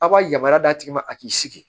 Aw ka yamaruya d'a tigi ma a k'i sigi